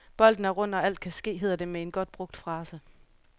Bolden er rund og alt kan ske, hedder det med en godt brugt frase.